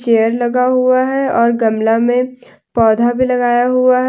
Chair लगा हुआ है और गमला में पौधा भी लगाया हुआ है।